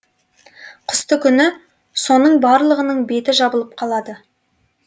қыстыгүні соның барлығының беті жабылып қалады